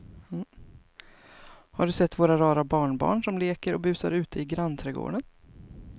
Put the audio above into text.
Har du sett våra rara barnbarn som leker och busar ute i grannträdgården!